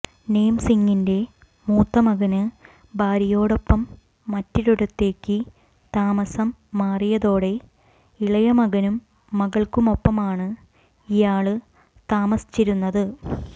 നേം സിംഗിന്റെ മൂത്തമകന് ഭാര്യയോടൊപ്പം മറ്റൊരിടത്തേക്ക് താമസം മാറിയതോടെ ഇളയമകനും മകള്ക്കുമൊപ്പമാണ് ഇയാള് താമസിച്ചിരുന്നത്